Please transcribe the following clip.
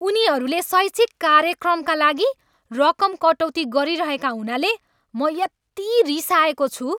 उनीहरूले शैक्षिक कार्यक्रमका लागि रकम कटौती गरिरहेका हुनाले म यति रिसाएको छु।